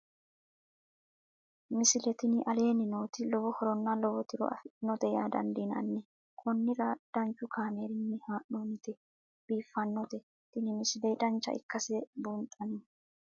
misile tini aleenni nooti lowo horonna lowo tiro afidhinote yaa dandiinanni konnira danchu kaameerinni haa'noonnite biiffannote tini misile dancha ikkase buunxanni